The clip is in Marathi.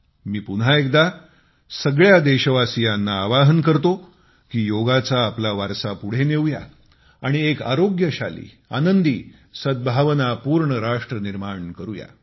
मी पुन्हा एकदा सगळ्या देशवासीयांना आवाहन करतो की योगाचा आपला वारसा पुढे नेऊया आणि एक आरोग्यशाली आनंदी सद्भावपूर्ण राष्ट्र निर्माण करूया